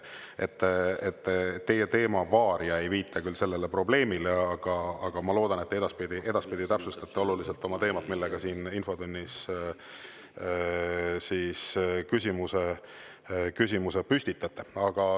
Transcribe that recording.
Teie teema "Varia" ei viita küll sellele probleemile, aga ma loodan, et te edaspidi täpsustate oma teemat, mille kohta siin infotunnis küsimuse püstitate.